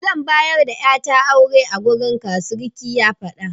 Zan bayar da ƴata aure a gareka, surikin ya faɗa.